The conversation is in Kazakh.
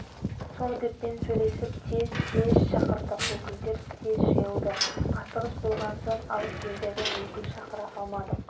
совдеппен сөйлесіп тез съезд шақырдық өкілдер тез жиылды асығыс болған соң алыс елдерден өкіл шақыра алмадық